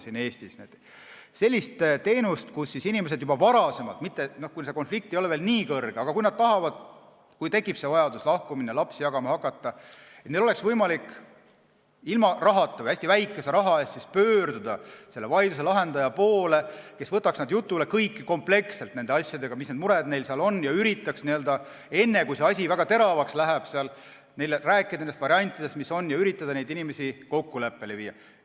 See on selline teenus, et inimesed saaksid juba varem, kui konflikt ei ole veel nii terav, aga nad tajuvad, et tekib vajadus lahku minna ja lapsi jagama hakata, ilma rahata või hästi väikese raha eest pöörduda vaidluse lahendaja poole, kes võtaks nad jutule kompleksselt, kõigi nende muredega, mis neil on, ja üritaks enne, kui asi väga teravaks läheb, rääkida nendest variantidest, mis on, ja üritada inimesi kokku leppima saada.